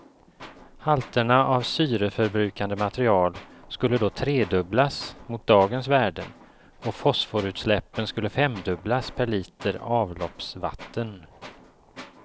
Halterna av syreförbrukande material skulle då tredubblas mot dagens värden och fosforutsläppen skulle femdubblas per liter avloppsvatten.